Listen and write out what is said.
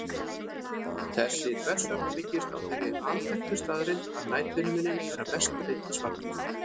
Þessi þversögn byggist á þeirri alþekktu staðreynd að næturhiminninn er að mestu leyti svartur.